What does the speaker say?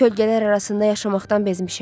Kölgələr arasında yaşamaqdan bezmişəm.